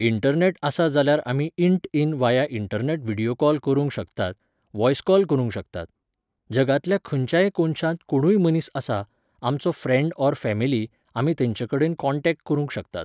Internet आसा जाल्यार आमी इन्ट इन वाया इन्टर्नेट व्हिडियो कॉल करुंक शकतात, वॉयस कॉल करुंक शकतात. जगांतल्या खंयच्याय कोनशांत कोणुय मनीस आसा, आमचो फ्रेन्ड ऑर फॅमीली, आमी तेंचे कडेन कॉन्टॅक्ट करुंक शकतात